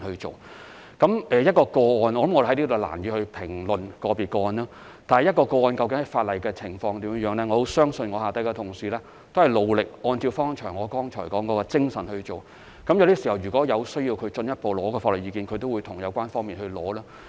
就個別個案，我在此難以作出評論，但在執行法例的情況，我相信我的同事都是很努力，按照我剛才所說的精神辦事；如果需要進一步索取法律意見，他們也會與有關方面索取。